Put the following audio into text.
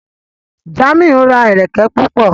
Jamiu ra ẹrẹkẹ púpọ.